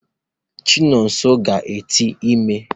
Chinonso ga-ete ime.